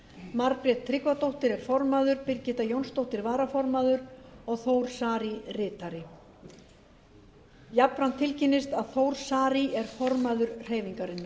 margrét tryggvadóttir er formaður birgitta jónsdóttir varaformaður og þór saari ritari jafnframt tilkynnist að þór saari er formaður hreyfingarinnar